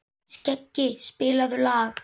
Skeggi, spilaðu lag.